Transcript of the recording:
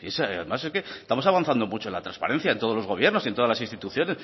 es además es que estamos avanzando mucho en la transparencia en todos los gobiernos y en todas las instituciones